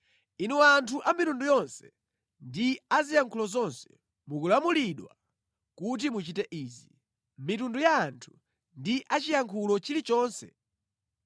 “Inu anthu a mitundu yonse ndi a ziyankhulo zonse, mukulamulidwa kuti muchite izi: mitundu ya anthu ndi a chiyankhulo chilichonse